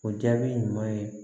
O jaabi ɲuman ye